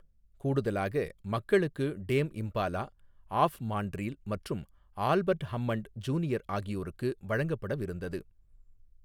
கூடுதலாக, மக்களுக்கு Dame Impala, of Montreal மற்றும் ஆல்பர்ட் ஹம்மண்ட், ஜூனியர் ஆகியோருக்கு வழங்கப்படவிருந்தது.